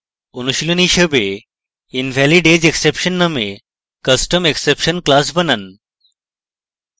অনুশীলনী হিসাবে: invalidageexception নামে custom exception class বানান